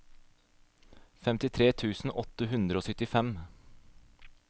femtitre tusen åtte hundre og syttifem